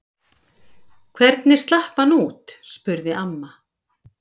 Hvernig slapp hann út? spurði amma.